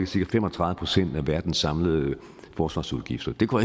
cirka fem og tredive procent af verdens samlede forsvarsudgifter det går